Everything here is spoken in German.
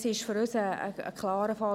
Dies ist für uns ein klarer Fall.